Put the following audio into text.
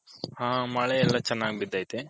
ಹ ಮಳೆ ಎಲ್ಲಾ ಚೆನ್ನಾಗ್ ಬಿದಯ್ತೆ.